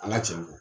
An ka cɛn fɔ